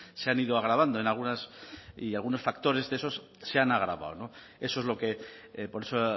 se han ido agravando en algunas y algunos factores de esos se han agravado no eso es lo que por eso